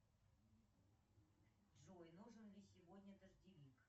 джой нужен ли сегодня дождевик